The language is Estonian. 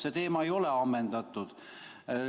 See teema ei ole ammendatud.